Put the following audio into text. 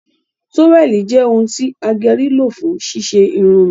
toweli jẹ òun ti ageri lo fún ṣíṣe Irun mi